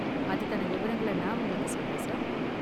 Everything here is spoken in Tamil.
அதுக்கான விவரங்களை நான் உங்களுக்கு சொல்றேன், சார்.